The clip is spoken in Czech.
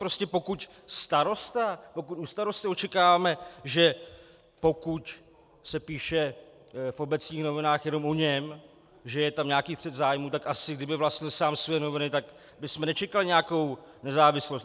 Prostě pokud u starosty očekáváme, že pokud se píše v obecních novinách jenom o něm, že je tam nějaký střet zájmů, tak asi kdyby vlastnil sám svoje noviny, tak bychom nečekali nějakou nezávislost.